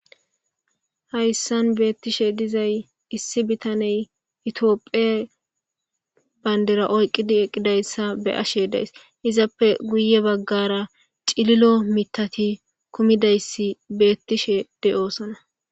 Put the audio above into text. Hayssan beettishe dizay issi bitaney itoophe banddira oyqqidi eqqidayssa be7ashe days. Izappe guye baggaara cililo mittati kumidayssi beettishe de7oosona.